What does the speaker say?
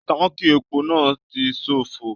Tánkí èpo náà tí ṣofo.